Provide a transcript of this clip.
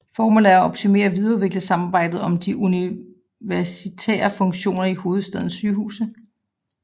Formålet er at optimere og videreudvikle samarbejdet om de universitære funktioner i hovedstadens sygehuse